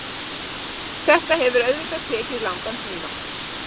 Þetta hefur auðvitað tekið langan tíma.